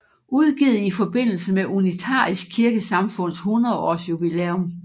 Udgivet i forbindelse med Unitarisk Kirkesamfunds 100 års jubilæum